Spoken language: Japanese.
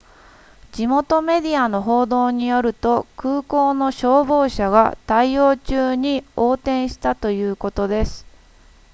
地元メディアの報道によると空港の消防車が対応中に横転したということです